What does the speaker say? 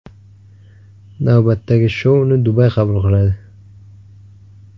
Navbatdagi shouni Dubay qabul qiladi.